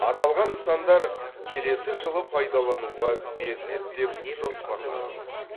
аталған нысандар келесі жылы пайдалануға беріледі деп жоспарланып отыр